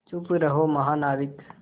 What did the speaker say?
चुप रहो महानाविक